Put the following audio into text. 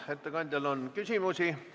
Ettekandjale on küsimusi.